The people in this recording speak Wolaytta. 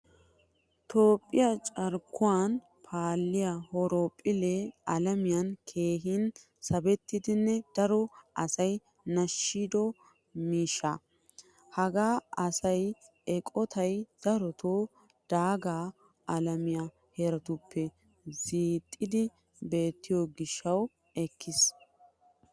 Toophphiyaa carkkuwan paaliyaa horophphille alamiyan keehin sabettidanne daro asay nashshido miishshaa. Haga ayssiyaa eqqottay daroto daaga alamiyaa harattuppe zooxidi beetto gishshawu ekkiis.